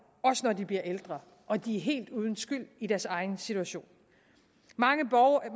også når de bliver ældre og de er helt uden skyld i deres egen situation